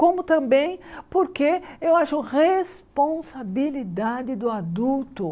Como também porque eu acho responsabilidade do adulto.